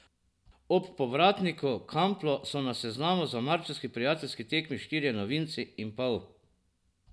Ob povratniku Kamplu so na seznamu za marčevski prijateljski tekmi štirje novinci in pol.